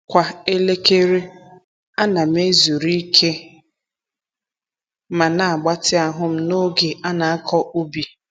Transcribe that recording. Kwa elekere, a na'm-ezuru ike ma na-agbatị ahụ'm n’oge a na-akọ ubi.